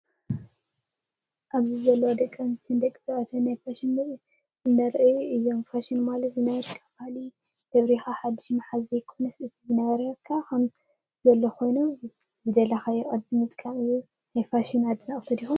ኣብዚ ለው ደቂ ኣንስትዮ ደቂ ተባዕትን ናይ ፋሸን ምርኢት እንዳኣርኣዩ እዮም። ፋሽን ማለት ዝነበረካ ባህሊ ደብሪካ ሓዱሽ ማሓዝ ዘይኮነስ እቲ ዝነበረ ከም ዘለዎ ኮይኑ ብዝደለካዮ ቅዲ ምጥቃም እዩ። ናይ ፋሽን ኣድነቅቲ ዲኩም ?